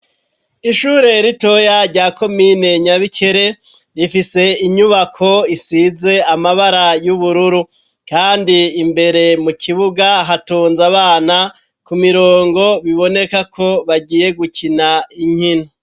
Ishure ritoya rya komine Nyabikere, rifise inyubako isize amabara y'ubururu. Kandi imbere mu kibuga hatonze abana ku mirongo biboneka ko bagiye gukina inkino.